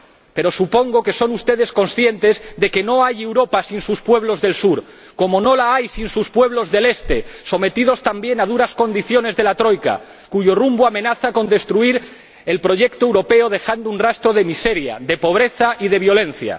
Pero supongo que son ustedes conscientes de que no hay Europa sin sus pueblos del sur, como no la hay sin sus pueblos del este, sometidos también a duras condiciones de la Troika, cuyo rumbo amenaza con destruir el proyecto europeo dejando un rastro de miseria, de pobreza y de violencia.